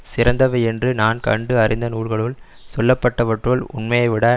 சிறந்தவை என்று நான் கண்டு அறிந்த நூல்களுள் சொல்லப்பட்டவற்றுள் உண்மையைவிட